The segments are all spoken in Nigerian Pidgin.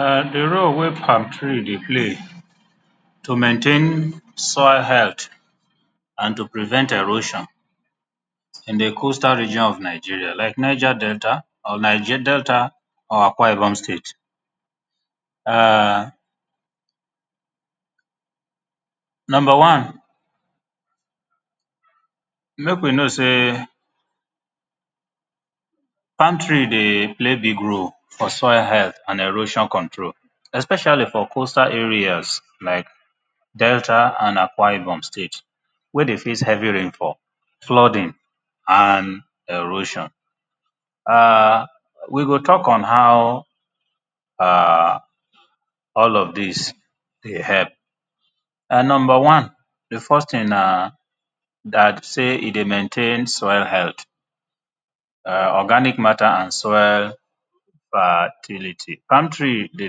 [urn] di role wey palm tree dey play to maintain soil hea l th and to prevent erosion in di coastal region of Nigeria like Niger Delta or Delta or Akwa Ibom state [urn]number one make we know sey palm tree dey play big role for maintain soil health and erosion control especially for coastal area like Delta and Akwa Ibom state wey dey face heavy rain fall flooding and heavy rain fall we go talk on how all of dis dey help, number one di first na dat say e dey maintain soil health organic matter and soil fertility. Palm tree dey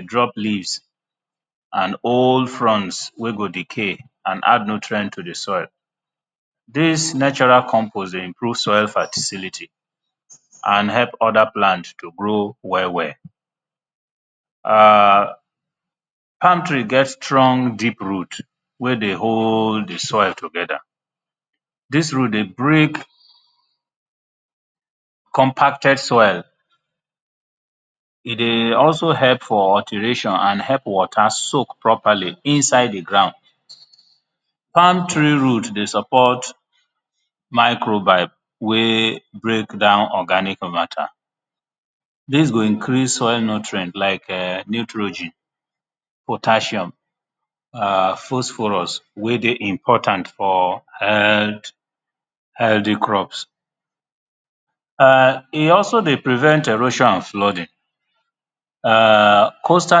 drop leaves and old soil wen dey decay and add nutrient to di soil dis natural compose dey increase soil fertility and help oda plant to grow well well. Palm tree get deep root wey dey hold di soil together dis root dey break compacted soil e dey also help for alteration and help water soak properly inside di ground. Palm tree root dey support microbial wey dey break down organic matter dis go increase soil nutrient like nitrogen potassium phosphorus wey dey important for health healthy crops. E also dey prevent erosion and flooding coastal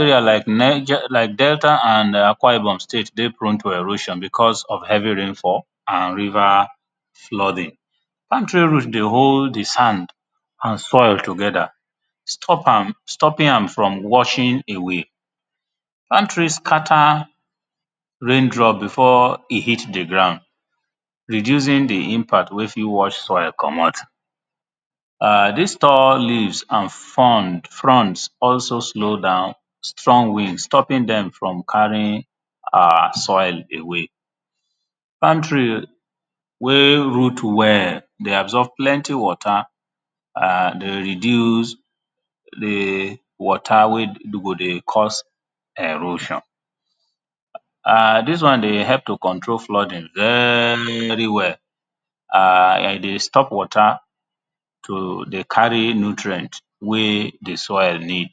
area like Delta and Akwa Ibom state dey prone to erosion because of heavy rain fall and river flooding. Palm tree root dey hold di sand and soil together stop am, stopping am from washing away, palm tree scatter rain drop before e hit di ground, reducing di impact wey fit wash soil komot dis tall leaves and fronds, fonds also slow down strong wind stopping dem from carrying our soil away, palm tree wey root well dey absorb plenty water and dey reduce, dey di water wey go dey cause erosion. Dis one dey help to control flooding very well, e dey stop water to dey carry nutrient wey di soil need.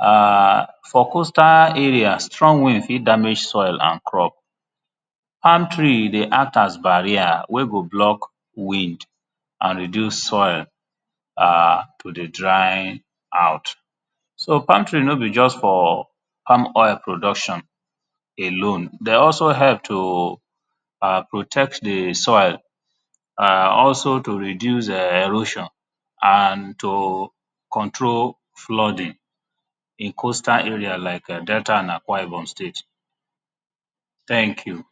For coastal areas strong wind fit damage soil and crop, palm tree dey act as barrier wey go stop wind and reduce soil to dey dry out, so palm tree no be just for palm oil production alone e dey also help to protect di soil also to reduce erosion and to control flooding in coastal like Delta and Akwa Ibom state, thank you.